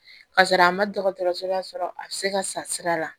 Ka sɔrɔ a ma dɔgɔtɔrɔso la sɔrɔ a bɛ se ka sa sira la